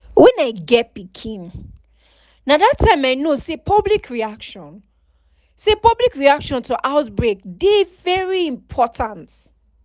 when i get pikinna that time i know say public reaction say public reaction to outbreak dey very important